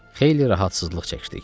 Xeyli rahatsızlıq çəkdik.